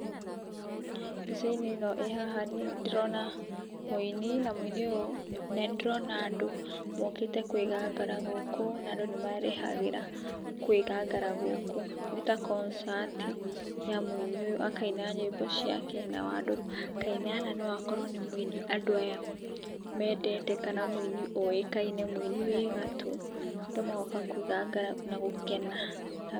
Mbicainĩ ĩno ĩhaha niĩ nĩ ndĩrona mũini na mũini ũyu na nĩ ndĩrona andũ mokĩte kwĩgangara gũkũ na andũ nĩ marĩhaga kwĩgangara gũkũ nĩ ta koncati ya mũini ũyũ akaina nyĩmbo ciake nao andũ makaina na no akorwo nĩ mũini andũ aya mendete kana mũini ũĩkaine mũini wi gatũ, andũ magoka kwĩgangara na gũkena.